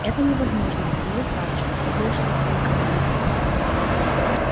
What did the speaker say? это невозможно вспылил фадж это уж совсем крайность